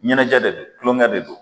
Ɲɛnajɛ de don tulokɛ de don